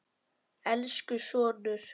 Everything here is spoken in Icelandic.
Elsku sonur.